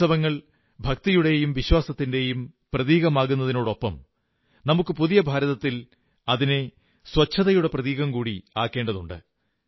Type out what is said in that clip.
ഉത്സവങ്ങൾ ഭക്തിയുടെയും വിശ്വാസത്തിന്റെയും പ്രതീകമാകുന്നതിനൊപ്പം നമുക്ക് പുതിയ ഭാരതത്തിൽ അതിനെ ശുചിത്വത്തിന്റെ പ്രതീകം കൂടി ആക്കേണ്ടതുണ്ട്